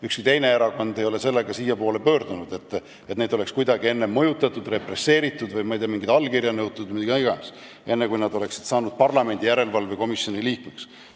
Ükski teine erakond ei ole sellega siiapoole pöördunud, et neid oleks kuidagi mõjutatud või represseeritud, ma ei tea, mingit allkirja nõutud või mida iganes, enne kui nad said parlamendi järelevalvekomisjoni liikmeks.